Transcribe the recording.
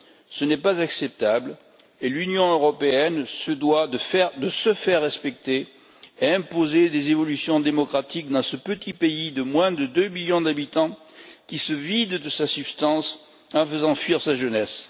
Ce n'est pas acceptable et l'Union européenne se doit de se faire respecter et d'imposer des évolutions démocratiques dans ce petit pays de moins de 2 millions d'habitants, qui se vide de sa substance en faisant fuir sa jeunesse.